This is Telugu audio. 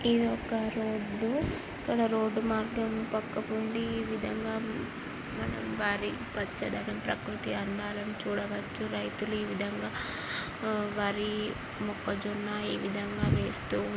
ఒక రోడ్డు ఇక్కడ రోడ్డు మార్గం పక్క పొంటి ఈ విధంగా మనం వరి పచ్చదనం ప్రకృతి అందాలను చూడవచ్చు. రైతులు ఏ విధంగా వరి మొక్కజొన్న ఈ విధంగా వేస్తూ--